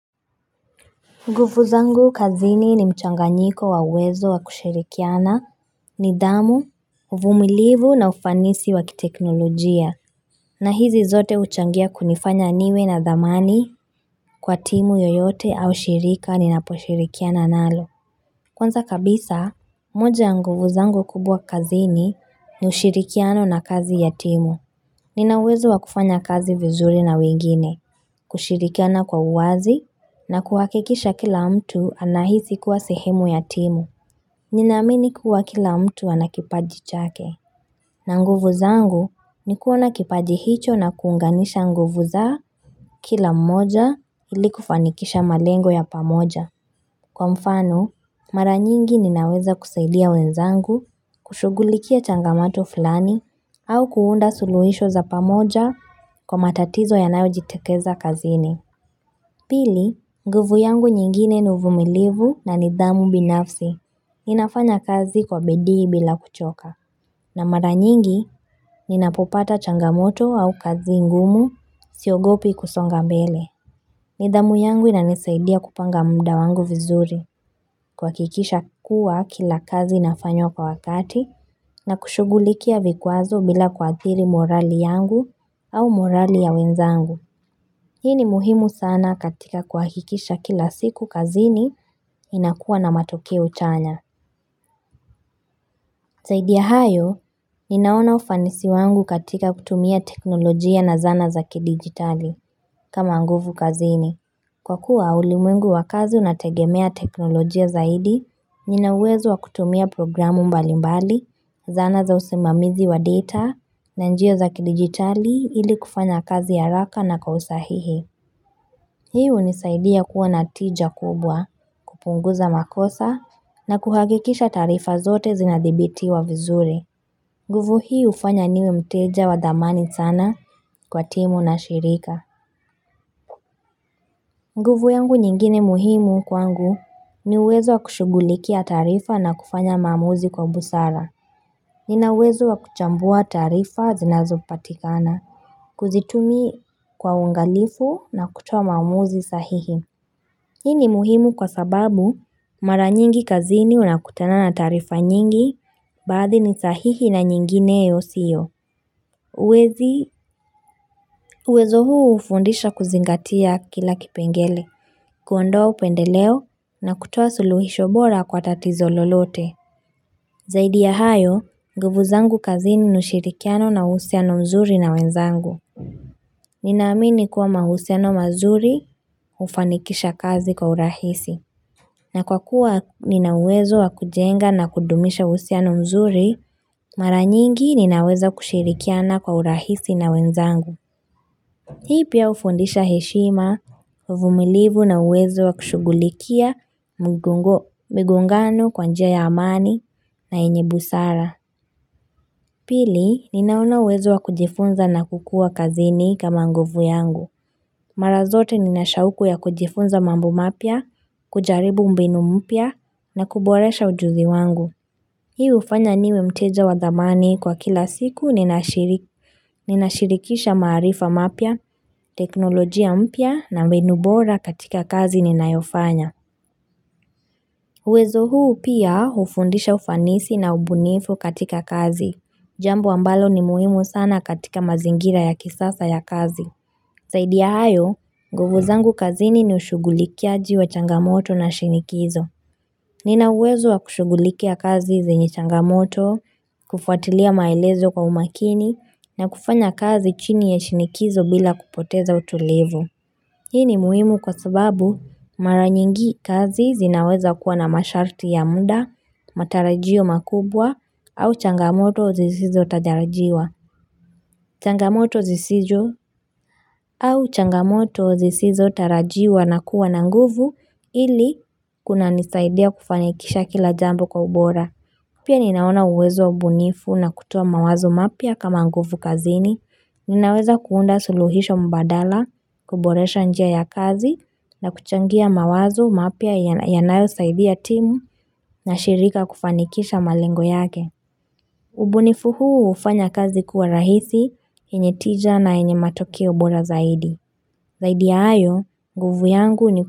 Nguvu zangu kazini ni mchanganyiko wa uwezo wa kushirikiana, nidhamu, uvumilivu na ufanisi wa kiteknolojia. Na hizi zote huchangia kunifanya niwe na dhamani kwa timu yoyote au shirika ninaposhirikiana nalo. Kwanza kabisa, moja ya nguvu zangu kubwa kazini ni ushirikiano na kazi ya timu. Nina uwezo wa kufanya kazi vizuri na wengine, kushirikiana kwa uwazi na kuhakikisha kila mtu anahisi kuwa sehemu ya timu. Ninaamini kuwa kila mtu ana kipaji chake, na nguvu zangu ni kuona kipaji hicho na kuunganisha nguvu za kila mmoja ili kufanikisha malengo ya pamoja. Kwa mfano, mara nyingi ninaweza kusaidia wenzangu, kushughulikia changamoto filani, au kuunda suluhisho za pamoja kwa matatizo yanayojitokeza kazini. Pili, nguvu yangu nyingine ni uvumilivu na nidhamu binafsi. Ninafanya kazi kwa bidii bila kuchoka. Na mara nyingi, ninapopata changamoto au kazi ngumu siogopi kusonga mbele. Nidhamu yangu inanisaidia kupanga muda wangu vizuri kuhakikisha kuwa kila kazi inafanywa kwa wakati na kushugulikia vikwazo bila kuathiri morali yangu au morali ya wenzangu. Hii ni muhimu sana katika kuhakikisha kila siku kazini ninakuwa na matokeo chanya. Zaidi ya hayo, ninaona ufanisi wangu katika kutumia teknolojia na zana za kidigitali kama nguvu kazini. Kwa kuwa ulimwengu wa kazi unategemea teknolojia zaidi, nina uwezo wa kutumia programu mbalimbali, zana za usimamizi wa data, na njia za kidigitali ili kufanya kazi haraka na kwa usahihi. Hii hunisaidia kuwa na tija kubwa, kupunguza makosa, na kuhakikisha taarifa zote zinadhibitiwa vizuri. Nguvu hii hufanya niwe mteja wa thamani sana kwa timu na shirika. Nguvu yangu nyingine muhimu kwangu ni uwezo wa kushughulikia taarifa na kufanya maamuzi kwa busara. Nina uwezo wa kuchambua taarifa zinazopatikana. Kuzitumia kwa uangalifu na kutoa maamuzi sahihi. Hii ni muhimu kwa sababu, mara nyingi kazini unakutana na taarifa nyingi baadhi ni sahihi na nyingine yasiyo. Uwezo huu hufundisha kuzingatia kila kipengele. Kuondoa upendeleo na kutoa suluhisho bora kwa tatizo lolote. Zaidi ya hayo, nguvu zangu kazini ni ushirikiano na uhusiano mzuri na wenzangu. Ninaamini kuwa mahusiano mazuri hufanikisha kazi kwa urahisi. Na kwa kuwa nina uwezo wa kujenga na kudumisha uhusiano mzuri, mara nyingi ninaweza kushirikiana kwa urahisi na wenzangu. Hii pia hufundisha heshima, uvumilivu na uwezo wa kushughulikia migongano kwa njia ya amani na yenye busara. Pili, ninao uwezo wa kujifunza na kukua kazini kama nguvu yangu. Mara zote nina shauku ya kujifunza mambo mapya, kujaribu mbinu mpya na kuboresha ujuzi wangu. Hii hufanya niwe mteja wa dhamani kwa kila siku ninashirikisha maarifa mapya, teknolojia mpya na mbinu bora katika kazi ninayofanya. Uwezo huu pia hufundisha ufanisi na ubunifu katika kazi. Jambu ambalo ni muhimu sana katika mazingira ya kisasa ya kazi. Zaidi ya hayo, nguvu zangu kazini ni ushugulikiaji wa changamoto la shinikizo. Nina uwezo wa kushughulikia kazi zenye changamoto, kufuatilia maelezo kwa umakini na kufanya kazi chini ya shinikizo bila kupoteza utulivu. Hii ni muhimu kwa sababu mara nyingi kazi zinaweza kuwa na masharti ya muda, matarajio makubwa au changamoto zisizotarajiwa. Changamoto zisizotarajiwa na kuwa na nguvu ili kunanisaidia kufanikisha kila jambo kwa ubora. Pia ninaona uwezo, ubunifu na kutoa mawazo mapya kama nguvu kazini. Ninaweza kuunda suluhisho mbadala, kuboresha njia ya kazi na kuchangia mawazo mapya yanayosaidia timu na shirika kufanikisha malengo yake. Ubunifu huu hufanya kazi kuwa rahisi, yenye tija na yenye matokeo bora zaidi. Zaidi ya hayo, nguvu yangu ni kuwa.